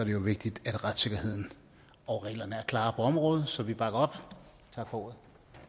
jo vigtigt at retssikkerheden og reglerne er klare på området så vi bakker op tak for ordet